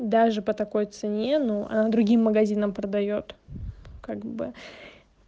даже по такой цене ну она другим магазинам продаёт как бы